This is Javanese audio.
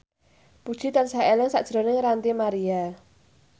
Puji tansah eling sakjroning Ranty Maria